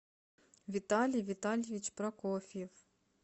виталий витальевич прокофьев